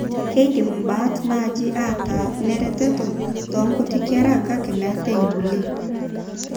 Keidim imbaat naaje aataa ineretoto toonkuti kera kake mmeetekulie.